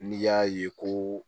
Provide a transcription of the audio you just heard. N'i y'a ye ko